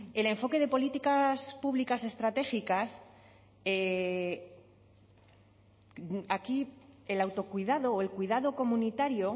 el enfoque de políticas públicas estratégicas aquí el autocuidado o el cuidado comunitario